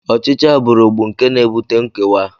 Ọchịchị agbụrụ bụ nke na-ebute nkewa